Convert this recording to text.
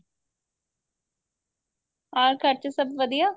ਅਹ ਘਰ ਚ ਸਭ ਵਧੀਆ